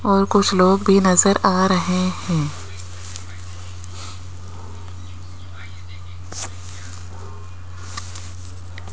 और कुछ लोग भी नजर आ रहे हैं।